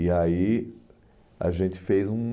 E aí a gente fez um...